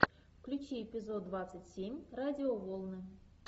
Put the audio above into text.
включи эпизод двадцать семь радиоволны